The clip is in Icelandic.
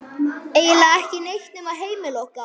Eiginlega ekki neitt nema heimili okkar.